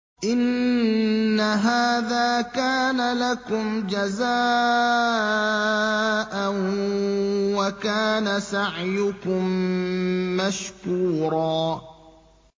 إِنَّ هَٰذَا كَانَ لَكُمْ جَزَاءً وَكَانَ سَعْيُكُم مَّشْكُورًا